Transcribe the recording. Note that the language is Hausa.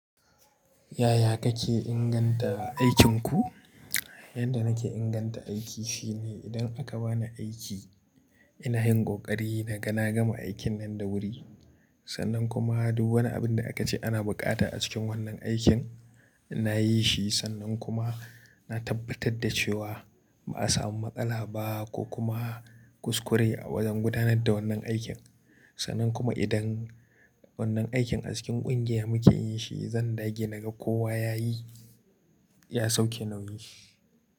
Yaya kake inganta aikinku? Yanda nake inganta aiki shine idan aka bani aiki ina yin ƙoƙari naga na gama aikin nan da wuri. Sannan kuma duk wani abin da aka ce ana buƙata a cikin wannan aikin nayi shi sannan kuma na tabbatar da cewa ba a samu matsala ba ko kuma kuskure a wajan gudanar da wannan aikin. Sannan kuma idan wannan aikin a cikin ƙungiya muke yin shi zan dage na gan kowa yayi ya sauke nauyi.